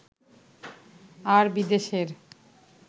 আর বিদেশের